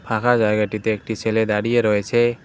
ফাঁকা জায়গাটিতে একটি ছেলে দাঁড়িয়ে রয়েছে।